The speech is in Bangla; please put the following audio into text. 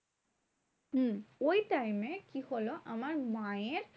হম ওই time এ কি হলো? আমার মায়ের